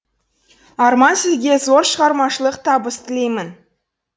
арман сізге зор шығармашылық табыс тілеймін